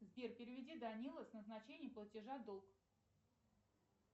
сбер переведи данилу с назначением платежа долг